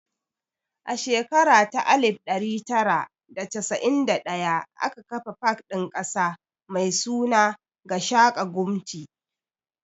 A shekara ta alif ɗari tara da casa'in da ɗaya aka kafa pak ɗin ƙasa mai suna 'Gashaka Gumti'.